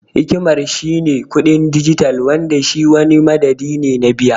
Hikimar shi ne kuɗin dijital Wanda shi wani madadi ne na biya.